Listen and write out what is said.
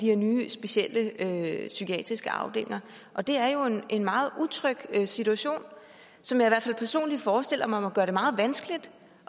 her nye specielle psykiatriske afdelinger og det er jo en meget utryg situation som jeg i hvert fald personligt forestiller mig må gøre det meget vanskeligt